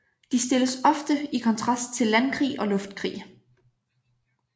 De stilles ofte i kontrast til landkrig og luftkrig